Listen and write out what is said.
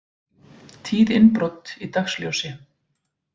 Tíð innbrot í dagsljósi